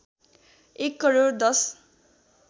एक करोड १०